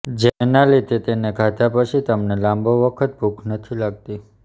જેના લીધે તેને ખાધા પછી તમને લાંબો વખત ભૂખ નથી લાગતી